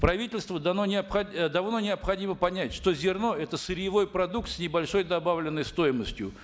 правительству давно необходимо понять что зерно это сырьевой продукт с небольшой добавленной стоимостью